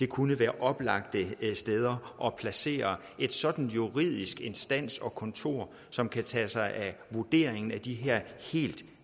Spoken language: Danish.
kunne være oplagte steder at placere en sådan juridisk instans og kontor som kan tage sig af vurderingen af de her helt